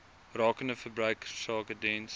rakende verbruikersake diens